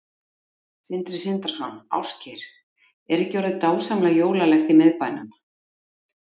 Sindri Sindrason: Ásgeir, er ekki orðið dásamlega jólalegt í miðbænum?